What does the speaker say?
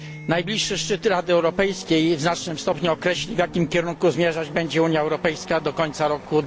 Najbliższy szczyt Rady Europejskiej w znacznym stopniu określi, w jakim kierunku zmierzać będzie Unia Europejska do końca roku